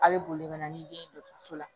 A bɛ boli ka na ni den ye dɔgɔtɔrɔso la